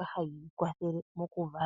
mbyoka hayi kwathele mokuvala